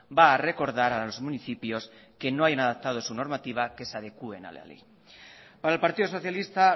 va a recordar a los municipios que no hayan adaptado su normativa que se adecuen a la ley para el partido socialista